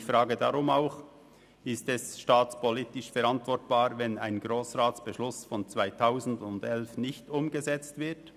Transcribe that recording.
Ich frage deshalb auch, ob es staatspolitisch verantwortbar ist, wenn ein Grossratsbeschluss aus dem Jahr 2011 nicht umgesetzt wird.